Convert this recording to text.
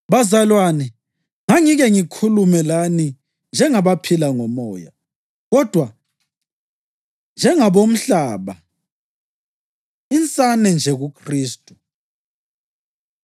Bazalwane, ngangingeke ngikhulume lani njengabaphila ngomoya, kodwa njengabomhlaba, insane nje kuKhristu.